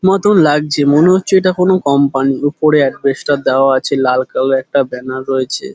মতন লাগছে মনে হচ্ছে এটা কোন কোম্পানি উপরে আসবেস্টর দেওয়া আছে লাল কালার - এর একটা ব্যানার রয়েছে।